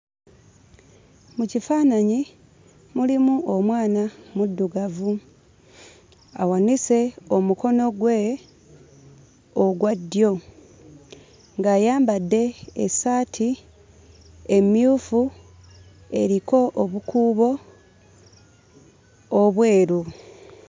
Mu kifaananyi mulimu omwana muddugavu, awanise omukono gwe ogwa ddyo, ng'ayambadde essaati emmyufu eriko obukuubo obweru.